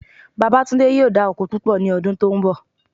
Babátúndé yóò dá oko púpọ̀ ní ọdún tó ń bọ̀